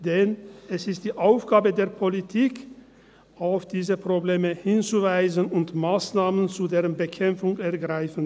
Denn es ist die Aufgabe der Politik, auf diese Probleme hinzuweisen und Massnahmen zu deren Bekämpfung zu ergreifen.